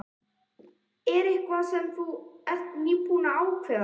Er þetta eitthvað sem þú ert nýlega búinn að ákveða.